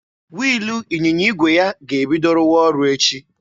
Wiilụ ịnyịnya igwe ya ga-ebido rụwa ọrụ echi.